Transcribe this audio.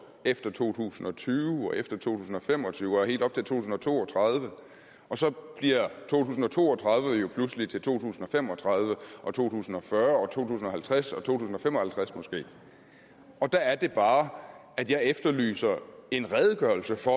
efter to tusind og tyve og efter to tusind og fem og tyve og helt op til to tusind og to og tredive og så bliver to tusind og to og tredive jo pludselig til to tusind og fem og tredive og to tusind og fyrre og to tusind og halvtreds og to tusind og fem og halvtreds måske der er det bare at jeg efterlyser en redegørelse for